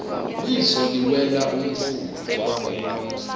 liso liwela umfula